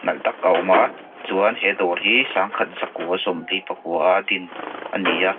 nalh tak a awm a chuan he dawr hi sangkhat zakua sawmli pakua a din ani a.